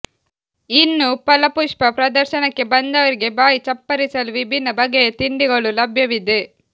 ಇನ್ನು ಪಲಪುಷ್ಪ ಪ್ರದರ್ಶನಕ್ಕೆ ಬಂದವರಿಗೆ ಬಾಯಿ ಚಪ್ಪರಿಸಲು ವಿಭಿನ್ನ ಬಗೆಯ ತಿಂಡಿಗಳು ಲಭ್ಯವಿದೆ